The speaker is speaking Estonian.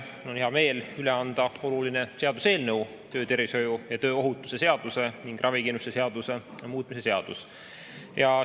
Mul on hea meel üle anda oluline seaduseelnõu, töötervishoiu ja tööohutuse seaduse ning ravikindlustuse seaduse muutmise seaduse.